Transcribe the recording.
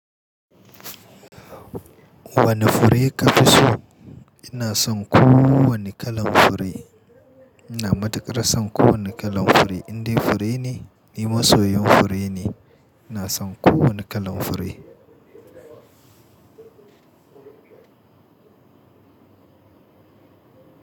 Wane fure ka fi so? Ina son kowane kalan fure. Ina matuƙar son kowane kalan fure, indai fure ne, ni masoyin fure ne. Ina son kowane kalan fure.